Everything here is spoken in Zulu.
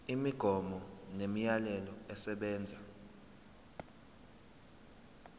imigomo nemiyalelo esebenza